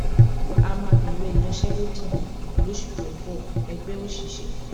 a máa bẹ̀rẹ̀ ìyanṣẹ́lódì lóṣù tó ń bọ- ẹgbẹ́ òṣìṣẹ́